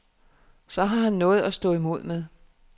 Så har han noget at stå imod med.